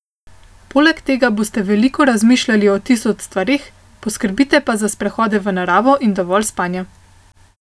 Poleg tega boste veliko razmišljali o tisoč stvareh, poskrbite pa za sprehode v naravo in dovolj spanja.